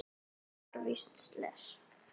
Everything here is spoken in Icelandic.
Ég var víst slys.